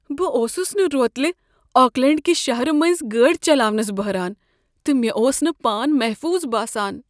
بہٕ اوسس نہٕ روتلہ آکلینٛڈ کہ شہرٕ مٔنٛزۍ گٲڑۍ چلاونس بہران، تہٕ مےٚ اوس نہٕ پان محفوظ باسان۔